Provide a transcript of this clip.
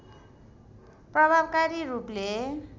प्रभावकरी रूपले